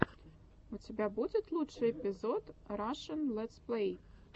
у тебя будет лучший эпизод рашн летсплей